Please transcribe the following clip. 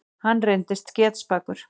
Hann reyndist getspakur.